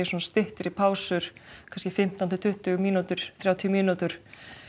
styttri pásur kannski fimmtán til tuttugu mínútur mínútur